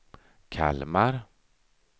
Kalmar